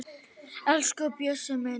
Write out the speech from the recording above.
Elsku Bjössi minn